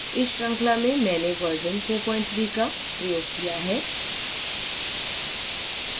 इस श्रृंखला में मैंने version 43 का प्रयोग किया है